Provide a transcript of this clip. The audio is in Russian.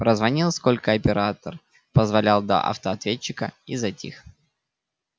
прозвонил сколько оператор позволял до автоответчика и затих